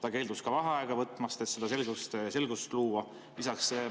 Ta keeldus ka vaheaega võtmast, et seda selgust luua.